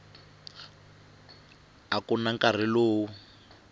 a ku na nkarhi lowu